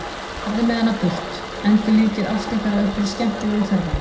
Farðu með hana burt, endurlífgið ást ykkar á einhverju skemmtilegu ferðalagi!